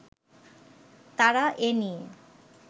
তারা এ নিয়ে